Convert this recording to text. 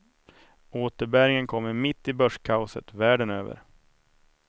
Återbäringen kommer mitt i börskaoset världen över.